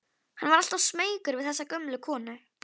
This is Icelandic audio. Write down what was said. Hann var alltaf smeykur við þessa gömlu konu.